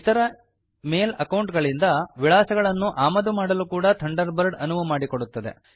ಇತರ mail account ಗಳಿಂದ ವಿಳಾಸಗಳನ್ನು ಆಮದು ಮಾಡಲು ಕೂಡ ಥಂಡರ್ ಬರ್ಡ್ ಅನುವು ಮಾಡಿಕೊಡುತ್ತದೆ